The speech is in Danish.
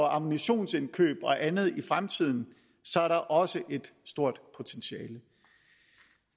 ammunitionsindkøb og andet i fremtiden er der også et stort potentiale